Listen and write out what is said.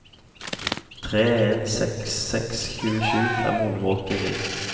tre en seks seks tjuesju fem hundre og åttini